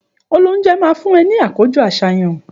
Òlóunjé má fun é ní àkójõ àsáyan